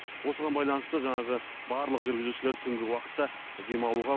осыған байланысты жаңағы барлық жүргізушілерді түнгі уақытта демалуға